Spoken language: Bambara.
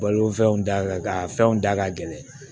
Balofɛnw da ka gɛlɛn a fɛnw da ka gɛlɛn